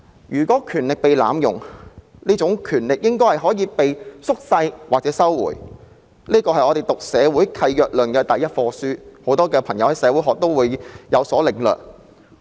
如果權力被濫用，這項權力應該可以被削弱或收回，這是我們修讀社會契約論的第一課所學的，很多修讀社會學的朋友都會有所領略。